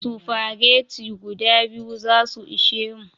Spaghetti guda biyu zasu ishe mu